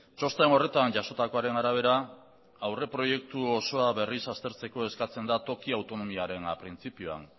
txosten horretan jasotakoaren arabera aurreproiektu osoa berriz aztertzeko eskatzen da toki autonomiaren printzipioan